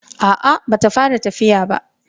A'a ba ta fara tafiya ba.